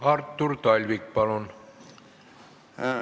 Artur Talvik, palun!